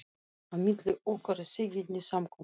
Á milli okkar er þegjandi samkomulag.